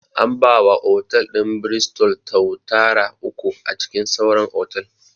An ba wa otal ɗin 'Bristol' tuatara uku a cikin sauran otal